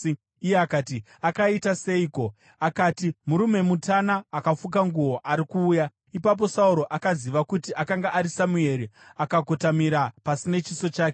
Iye akati, “Akaita seiko?” Akati, “Murume mutana akafuka nguo ari kuuya.” Ipapo Sauro akaziva kuti akanga ari Samueri, akakotamira pasi nechiso chake.